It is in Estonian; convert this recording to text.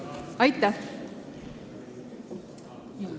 Aitäh!